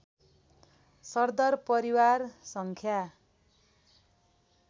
सरदर परिवार सङ्ख्या